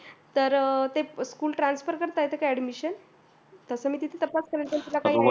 तर ते school transfer करता येते का admission तसं मी तपास करेन पण तुला काही idea